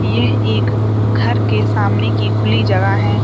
यह एक घर के सामने की खुली जगह है।